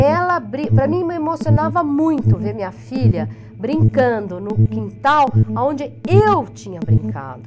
Ela bri, para mim, me emocionava muito ver minha filha brincando no quintal onde eu tinha brincado.